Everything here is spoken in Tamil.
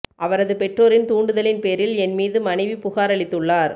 அவரது பெற்றோரின் தூண்டுதலின் பேரில் என் மீது மாணவி புகார் அளித்துள்ளார்